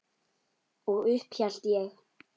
Og upp hélt ég.